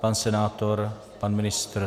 Pan senátor, pan ministr?